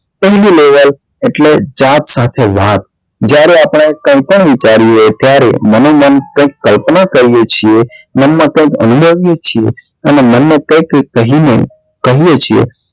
ઊંડું એટલે જાત સાથે વાત જ્યારે આપને કઈ પણ વિચારીએ ત્યારે મનોમન કઈક કલ્પના કરીએ છીએ મન માં કઈક અનુભવીએ છીએ અને મન માં કઈક કહી ને કહીએ છીએ